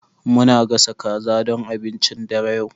Muna gasa kaza don abincin dare yau.